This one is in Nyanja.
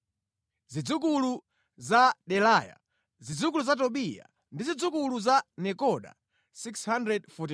Zidzukulu za Delaya, zidzukulu za Tobiya ndi zidzukulu za Nekoda 642.